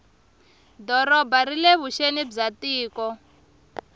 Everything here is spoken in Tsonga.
doroba rile vuxeni bya tiko